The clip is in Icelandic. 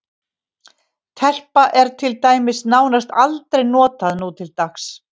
Telpa er til dæmis nánast aldrei notað nútildags.